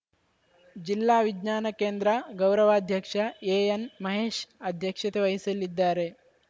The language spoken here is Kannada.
ಜಿಲ್ಲಾ ವಿಜ್ಞಾನ ಕೇಂದ್ರ ಗೌರವಾಧ್ಯಕ್ಷ ಎಎನ್‌ ಮಹೇಶ್‌ ಅಧ್ಯಕ್ಷತೆ ವಹಿಸಲಿದ್ದಾರೆ